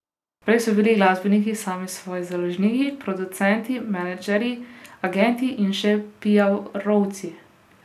Prej so bili glasbeniki sami svoji založniki, producenti, menedžerji, agenti in še piarovci.